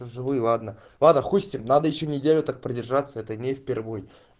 живые ладно-ладно хуй с ним надо ещё неделю так продержаться это не впервой